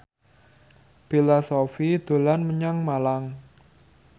Bella Shofie dolan menyang Malang